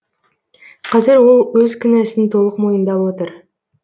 қазір ол өз кінәсін толық мойындап отыр